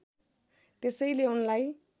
त्यसैले उनलाई